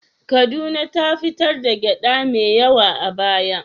Kaduna ta fitar da gyaɗa mai yawa a baya.